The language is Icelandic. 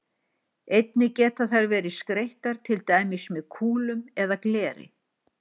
Einnig geta þær verið skreyttar til dæmis með kúlum eða gleri.